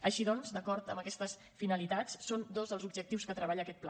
així doncs d’acord amb aquestes finalitats són dos els objectius que treballa aquest pla